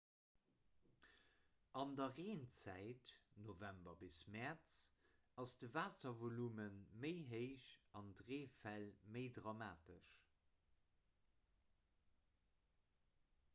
an der reenzäit november bis mäerz ass de waasservolume méi héich an d'reefäll méi dramatesch